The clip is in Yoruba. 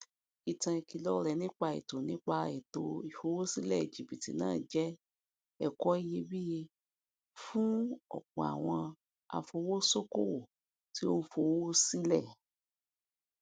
ìtàn ìkìlọ rẹ nípa ètò nípa ètò ìfowósílẹ jibítì náà jẹ ẹkọ iyebíye fún ọpọ àwọn afowosokowo tí ó ń fowó sílẹ